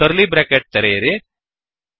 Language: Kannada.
ಕರ್ಲೀ ಬ್ರ್ಯಾಕೆಟ್ ತೆರೆಯಿರಿ